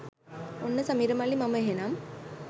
ඔන්න සමීර මල්ලී මම එහෙනම්